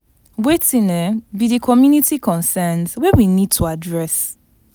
Wetin um be di community concerns wey we need to address?